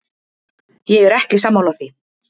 Ég er ekki sammála því.